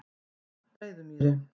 Breiðumýri